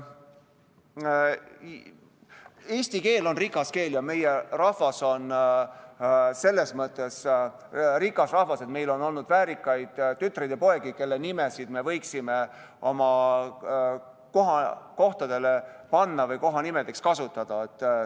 Eesti keel on rikas keel ja meie rahvas on selles mõttes rikas rahvas, et meil on olnud väärikaid tütreid ja poegi, kelle nimesid me võiksime kohtadele panna või kohanimedena kasutada.